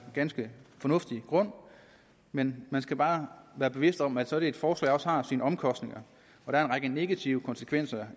ganske fornuftig grund men man skal bare være bevidst om at sådan et forslag også har sine omkostninger der er en række negative konsekvenser